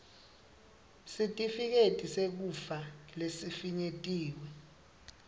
sitifiketi sekufa lesifinyetiwe